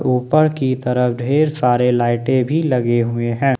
ऊपर की तरफ ढेर सारे लाइटे भी लगे हुए हैं।